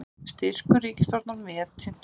Styrkur ríkisstjórnar metinn